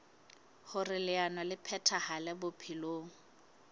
hoer leano le phethahale bophelong